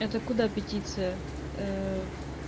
это куда петиция